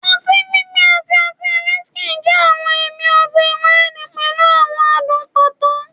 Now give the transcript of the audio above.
oti gbigbẹ ati ọti whiskey jẹ awọn ẹmi ọti-waini pẹlu awọn adun pato